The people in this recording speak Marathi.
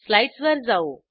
स्लाईडसवर जाऊ